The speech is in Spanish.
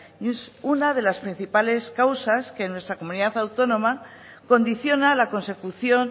y es una de las principales causas que en nuestra comunidad autónoma condiciona la consecución